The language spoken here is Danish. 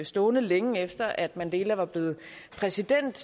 stående længe efter at mandela var blevet præsident